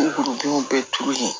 U denw bɛɛ turu yen